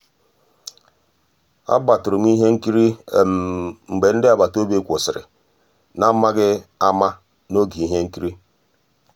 àgbátụ̀rụ̀ m ihe nkírí mgbé ndị́ àgbàtà òbí kwụ́sị́rí n'àmàghị́ àmá n'ògé íhé nkírí.